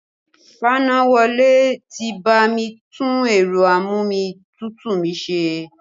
Fanáwọlé ti bá mi tún ẹ̀rọ a-mú-omi-tútù mi ṣe